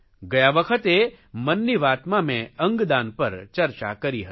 ગયા વખતે મન કી વાતમાં મે અંગદાન પર ચર્ચા કરી હતી